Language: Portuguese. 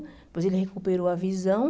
Depois ele recuperou a visão.